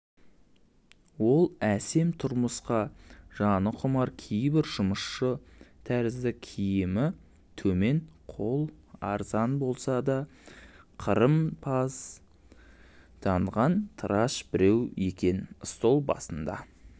ол әсем тұрмысқа жаны құмар кейбір жұмысшы тәрізді киімі төмен қол арзан болса да қырымпозданған тыраш біреу екенстол басында